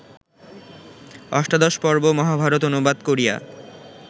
অষ্টাদশপর্ব মহাভারত অনুবাদ করিয়া